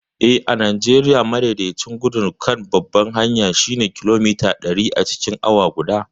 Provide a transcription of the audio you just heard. Eh, a Najeriya, madaidaicin gudun kan babbar hanyar shine kilomita ɗari acikin awa guda.